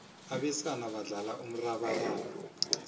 abesana badlala umrabaraba